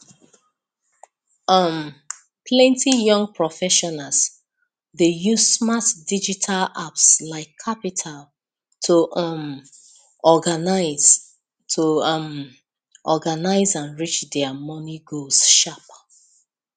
um plenty young professionals dey use smart digital apps like qapital to um organise to um organise and reach their money goals sharp